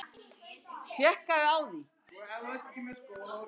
Hann kallaði mömmu aldrei Guðríði nema eitthvað væri að, eitthvað mikið.